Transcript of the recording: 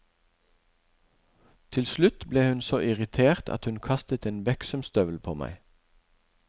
Til slutt ble hun så irritert at hun kastet en beksømstøvel på meg.